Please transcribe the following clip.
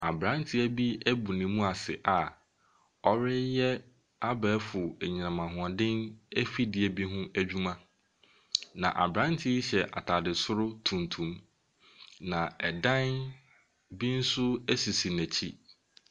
Aberante bi abɔ ne mu ase a ɔreyɛ abɛɛfo anyinam ahoɔden afidie bi ho adwuma, na aberanteɛ yi hyɛ atade soro tuntum, na ɛdan bi nso sisi n'akyi.